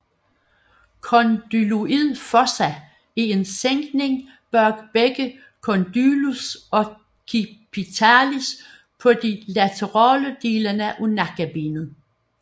Condyloid fossa er en sænkning bag begge condylus occipitalis på de laterale dele af nakkebenet